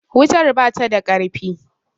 wutar bata da ƙarfi